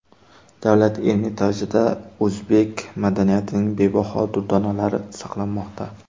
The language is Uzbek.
Davlat Ermitajida o‘zbek madaniyatining bebaho durdonalari saqlanmoqda.